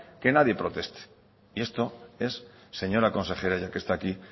que nadie proteste y esto es señora consejera ya que está aquí